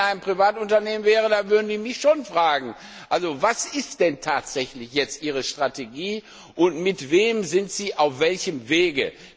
Wenn ich in einem Privatunternehmen wäre, würden die mich schon fragen Was ist denn nun tatsächlich Ihre Strategie, und mit wem sind Sie auf welchem Wege?